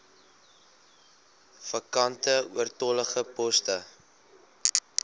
vakante oortollige poste